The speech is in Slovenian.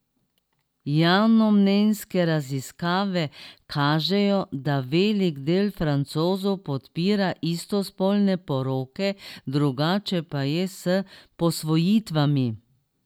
Javnomnenjske raziskave kažejo, da velik del Francozov podpira istospolne poroke, drugače pa je s posvojitvami.